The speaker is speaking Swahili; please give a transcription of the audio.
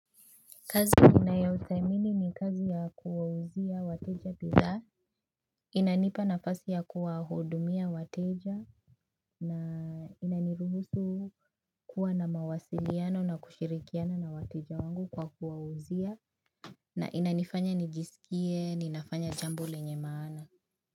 Kazi ninayoithamini ni kazi ya kuwauzia wateja bidhaa inanipa nafasi ya kuwahudumia wateja na inaniruhusu kuwa na mawasiliano na kushirikiana na wateja wangu kwa kuwauzia na inanifanya nijisikie, ninafanya jambo lenye maana.